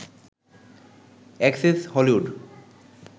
access Hollywood